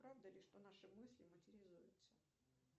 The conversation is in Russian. правда ли что наши мысли материализуются